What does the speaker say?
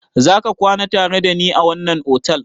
Za ka kwana tare da ni a wannan otal?